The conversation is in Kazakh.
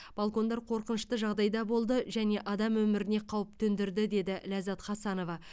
балкондар қорқынышты жағдайда болды және адам өміріне қауіп төндірді деді ләззат хасанова